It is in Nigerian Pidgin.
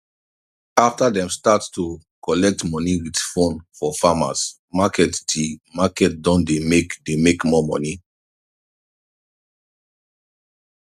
after dem start to collect money with phone for farmers marketthe market don dey make dey make more money